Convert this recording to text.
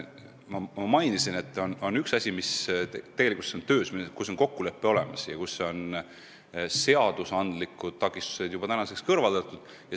Ma mainisin, et on üks asi, mis tegelikkuses on töös, mille puhul on kokkulepe olemas ja seadusandlikud takistused kõrvaldatud.